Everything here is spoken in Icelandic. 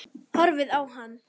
Horfið á hann.